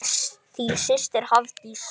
Þín systir, Hafdís.